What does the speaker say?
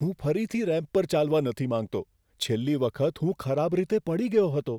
હું ફરીથી રેમ્પ પર ચાલવા નથી માંગતો. છેલ્લી વખત હું ખરાબ રીતે પડી ગયો હતો.